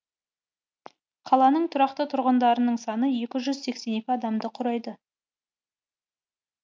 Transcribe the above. қаланың тұрақты тұрғындарының саны екі жүз сексен екі адамды құрайды